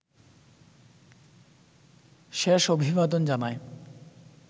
শেষ অভিবাদন জানায়